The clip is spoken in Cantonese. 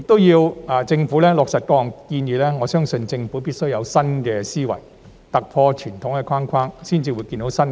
如果要落實各項建議，我相信政府必須有新思維，突破傳統框框，才能有新視野。